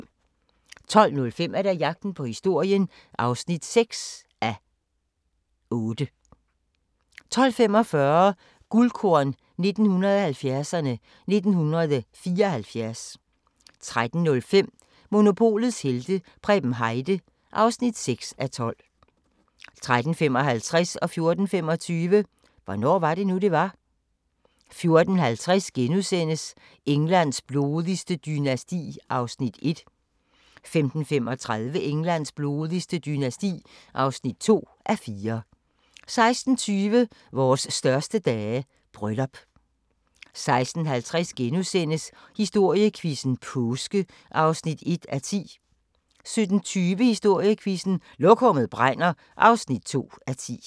12:05: Jagten på historien (6:8) 12:45: Guldkorn 1970'erne: 1974 13:05: Monopolets helte - Preben Heide (6:12) 13:55: Hvornår var det nu, det var? 14:25: Hvornår var det nu det var 14:50: Englands blodigste dynasti (1:4)* 15:35: Englands blodigste dynasti (2:4) 16:20: Vores største dage – bryllup 16:50: Historiequizzen: Påske (1:10)* 17:20: Historiequizzen: Lokummet brænder (2:10)